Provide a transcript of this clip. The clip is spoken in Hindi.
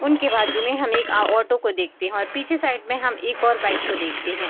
उनके बाजु में हमें एक आ-ऑटो को देखते हैं और पीछे साइड में हम एक और बाइक को देखते हैं।